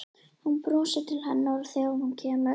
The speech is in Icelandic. Hún brosir til hennar þegar hún kemur inn.